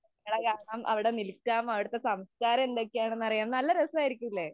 അവിടെ കറങ്ങാം, അവിടെ നില്‍ക്കാം, അവിടത്തെ സംസ്കാരം എന്തൊക്കെയാണെന്ന് അറിയാം. നല്ല രസായിരിക്കൂലെ.